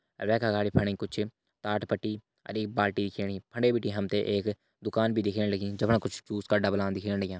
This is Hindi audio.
अर वेका अगाडी फणी कुछ ताथ पट्टी अर एक बार टी दिखेणी फंडे बिटी हमथे एक दुकान भी दिखेण लगी जमणा कुछ जूस का डबलान दिखेण लग्या।